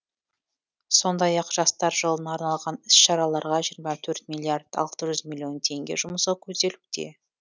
сондай ақ жастар жылына арналған іс шараларға жиырма төрт миллиард алты жүз миллион теңге жұмсау көзделуде